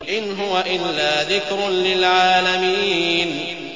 إِنْ هُوَ إِلَّا ذِكْرٌ لِّلْعَالَمِينَ